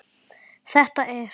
Þetta er.